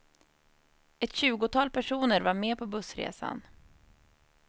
Ett tjugotal personer var med på bussresan.